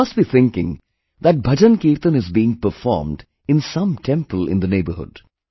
You must be thinking that bhajan kirtan is being performed in some temple in the neighbourhood